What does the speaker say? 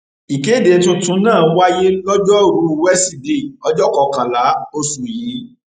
ìkéde tuntun náà wáyé lojoruu wesidee ọjọ kọkànlá oṣù yìí